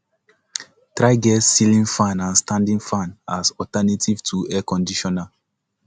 try get ceiling fan and standing fan as alternative to air conditioner